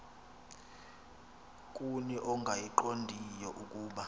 kuni ongayiqondiyo ukuba